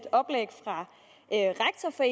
for